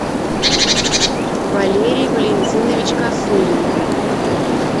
валерий валентинович косулин